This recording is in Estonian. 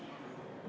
Hea istungi juhataja!